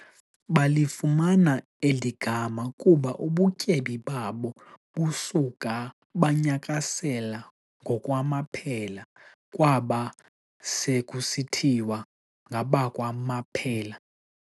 Balifumana eli gama kuba ubutyebi babo buska banyakasela ngokwamaphela, kwaba se kusithiwas ngabakwaMaphela.